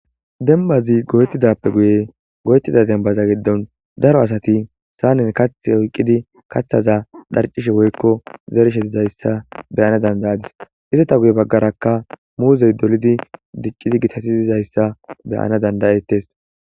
Dembazi goyettidaappe guyen goyettida dembaza giddon daro asati saanen kaththi oykkidi kaththaza dharccishe woykko zerishe dizayssa be7ana danda7adis.izeta ha baggarakka muuzey dolidi dicidi gitatidi dizayssa be7ana danda7adis.